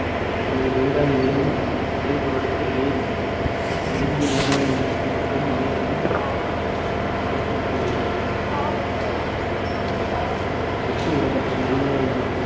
இந்த நீராவி மேலும் குளிர்வடைந்து நீர் சுருங்கி மேகங்கள் மற்றும் மழைக்குள் வித்திடுகிறது. ஒப்பு ஈரப்பதம் மனிதனின்